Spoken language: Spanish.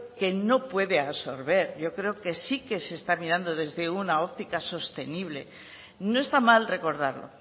que no puede absorber yo creo que sí se está mirando desde una óptica sostenible no está mal recordarlo